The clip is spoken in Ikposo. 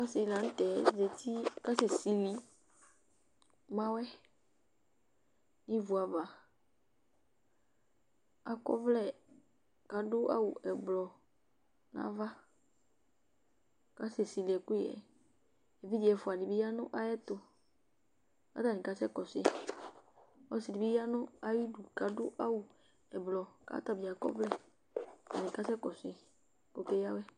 Ɔsɩ dɩ la nʋ tɛ zati kʋ ɔkasɛsili mawɛ nʋ ivu ava Akɔ ɔvlɛ kʋ adʋ awʋ ɛblɔ nʋ ava kʋ ɔkasɛsili ɛkʋyɛ yɛ Evidze ɛfʋa dɩ bɩ ya nʋ ayɛtʋ kʋ atanɩ kasɛkɔsʋ yɩ Ɔsɩ dɩ bɩ ya nʋ ayidu kʋ adʋ awʋ ɛblɔ kʋ ɔta bɩ akɔ ɔvlɛ, atanɩ kasɛkɔsʋ yɩ kʋ ɔkeyǝ awɛ